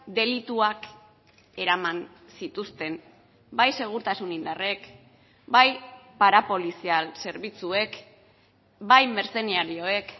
delituak eraman zituzten bai segurtasun indarrek bai parapolizial zerbitzuek bai mertzenarioek